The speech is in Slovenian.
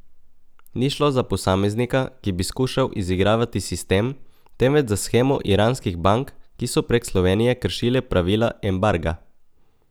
Ni šlo za posameznika, ki bi skušal izigravati sistem, temveč za shemo iranskih bank, ki so prek Slovenije kršile pravila embarga.